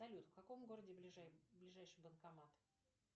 салют в каком городе ближайший банкомат